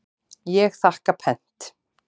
Ég þakka pent.